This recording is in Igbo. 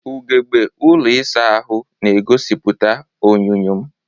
Ugegbe ụlọ ịsa ahụ na-egosipụta onyinyo m.